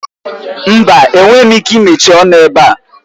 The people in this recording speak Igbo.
Mba! Enweghị m ike imechi ọnụ ebe a